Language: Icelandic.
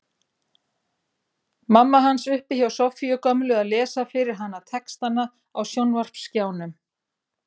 Mamma hans uppi hjá Soffíu gömlu að lesa fyrir hana textana á sjónvarpsskjánum.